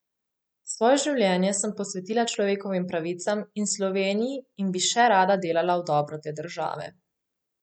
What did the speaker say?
Svoje življenje sem posvetila človekovim pravicam in Sloveniji in bi še rada delala v dobro te države.